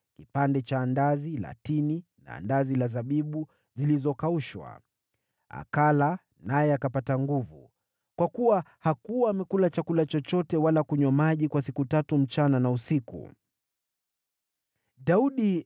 kipande cha andazi la tini na andazi la zabibu zilizokaushwa. Akala naye akapata nguvu, kwa kuwa hakuwa amekula chakula chochote wala kunywa maji kwa siku tatu usiku na mchana.